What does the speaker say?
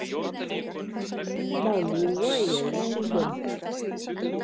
Má ljúga í auglýsingum?